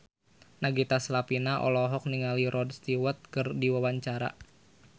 Nagita Slavina olohok ningali Rod Stewart keur diwawancara